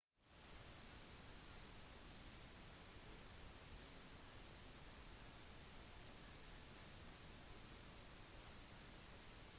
elementer og sammensetninger kan gå fra en tilstand til en annen uten å forandres